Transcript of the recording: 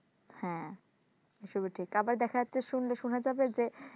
হ্যাঁ এসবই ঠিক আবার দেখা যাচ্ছে শুনলে শোনা যাবে যে